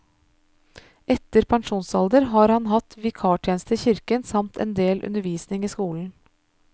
Etter pensjonsalder har han hatt vikartjeneste i kirken samt endel undervisning i skolen.